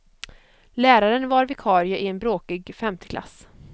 Läraren var vikarie i en bråkig femteklass.